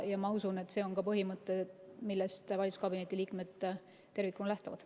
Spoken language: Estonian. Ma usun, et see on põhimõte, millest valitsuskabineti liikmed tervikuna lähtuvad.